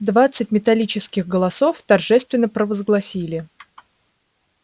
двадцать металлических голосов торжественно провозгласили